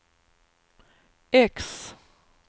X